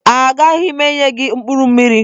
Agaghị m enye gị mkpụrụ mmiri.